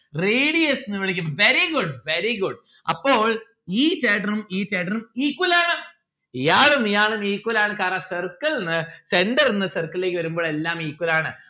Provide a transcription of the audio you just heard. radius ന്ന്‌ വിളിക്കും very good very good അപ്പോൾ ഈ ചേട്ടനും ഈ ചേട്ടനും equal ആണ്. ഇയാളും ഇയാളും equal ആണ് കാരണം circle ന്ന്‌ centre ന്ന്‌ circle ലേക്ക് വരുമ്പോൾ എല്ലാം equal ആണ്.